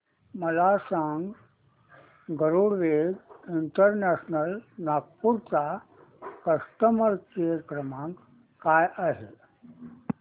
मला हे सांग गरुडवेग इंटरनॅशनल नागपूर चा कस्टमर केअर क्रमांक काय आहे